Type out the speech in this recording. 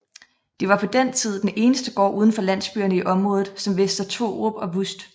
Det var på den tid den eneste gård udenfor landsbyerne i området som Vester Thorup og Vust